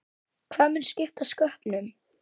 Hvað mun skipta sköpum?